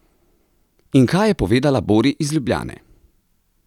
In kaj je povedala Bori iz Ljubljane?